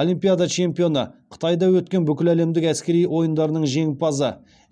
олимпиада чемпионы қытайда өткен бүкіләлемдік әскери ойындарының жеңімпазы